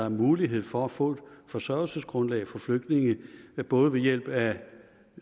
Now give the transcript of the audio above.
en mulighed for at få et forsørgelsesgrundlag for flygtninge både ved hjælp af